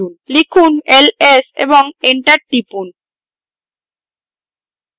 লিখুন ls এবং enter টিপুন